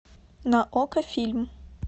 на окко фильм